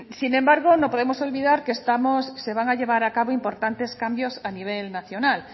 sin embargo no podemos olvidar que se van a llevar a cabo importantes cambios a nivel nacional